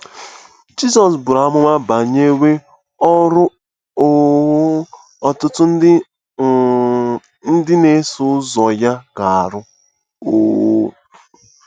Jizọs buru amụma banyere ọrụ um ọtụtụ nde um ndị na-eso ụzọ ya ga-arụ um.